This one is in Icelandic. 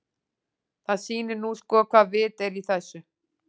Það sýnir nú sko hvaða vit er í þessu.